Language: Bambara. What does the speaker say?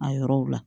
A yɔrɔw la